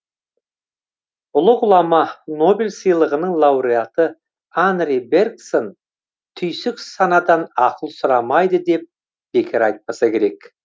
ұлы ғұлама нобель сыйлығының лауреаты анри берксон түйсік санадан ақыл сұрамайды деп бекер айтпаса керек